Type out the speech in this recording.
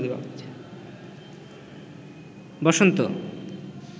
বসন্ত